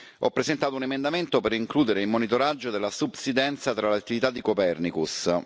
Ho presentato un emendamento per includere il monitoraggio della subsidenza tra le attività di Copernicus.